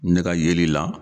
Ne ka yɛli la.